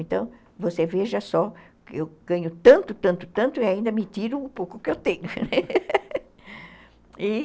Então, você veja só, eu ganho tanto, tanto, tanto e ainda me tiro o pouco que eu tenho.